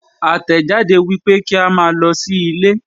Àtẹ̀jáde wípé kí a máa lọ sí ilé.